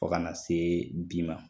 Fɔ kana se bi ma.